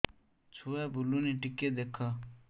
ଛୁଆ ବୁଲୁନି ଟିକେ ଦେଖ